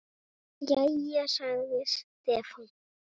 Jæja, sagði Stefán.